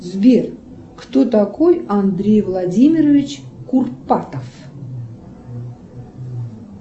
сбер кто такой андрей владимирович курпатов